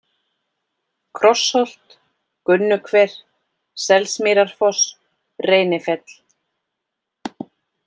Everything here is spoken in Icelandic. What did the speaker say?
Krossholt, Gunnuhver, Selsmýrarfoss, Reynifell